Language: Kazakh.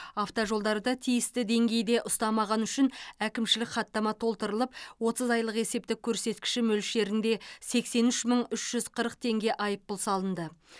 автожолдарды тиісті деңгейде ұстамағаны үшін әкімшілік хаттама толтырылып отыз айлық есептік көрсеткіші мөлшерінде сексен үш мың үш жүз қырық теңге айыппұл салынды